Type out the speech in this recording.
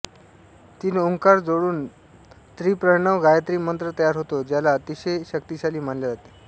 तीन ओंकार जोडून त्रिप्रणव गायत्री मंत्र तयार होतो ज्याला अतिशय शक्तिशाली मानल्या जाते